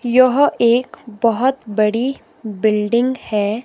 यह एक बहोत बड़ी बिल्डिंग है।